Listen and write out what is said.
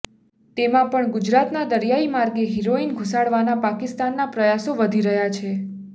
તેમાં પણ ગુજરાતના દરિયાઈ માર્ગે હેરોઈન ઘૂસાડવાના પાકિસ્તાનના પ્રયાસો વધી રહ્યા છે